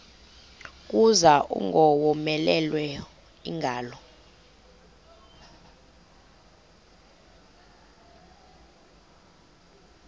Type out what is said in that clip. kuza ingowomeleleyo ingalo